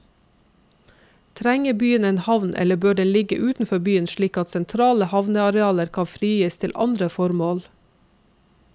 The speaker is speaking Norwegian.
Trenger byen en havn eller bør den ligge utenfor byen slik at sentrale havnearealer kan frigis til andre formål.